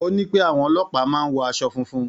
Ó ní pé àwọn ọlọ́pàá máa ń wọ aṣọ funfun.